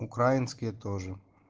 украинские тоже